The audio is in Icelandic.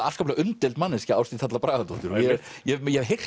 afskaplega umdeild manneskja Ásdís Halla Bragadóttir ég hef heyrt